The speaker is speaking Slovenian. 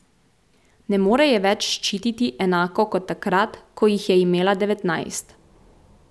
Ne more je več ščititi enako kot takrat, ko jih je imela devetnajst.